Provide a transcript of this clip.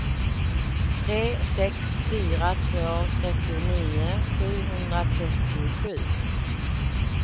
tre sex fyra två trettionio sjuhundratrettiosju